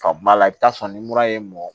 Ka ba la i bi taa sɔrɔ ni mura ye mɔn